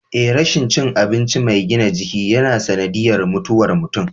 Eh rashin cin abinci mai gina jiki yana sanadiyyar mutuwar mutum.